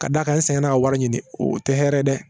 Ka d'a kan n sɛgɛnna a wari ɲini o tɛ hɛrɛ ye dɛ